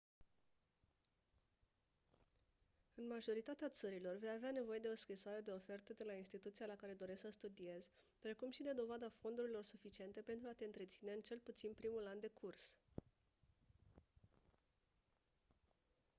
în majoritatea țărilor vei avea nevoie de o scrisoare de ofertă de la instituția la care dorești să studiezi precum și de dovada fondurilor suficiente pentru a te întreține în cel puțin primul an de curs